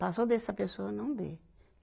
Passou dessa pessoa, não dê.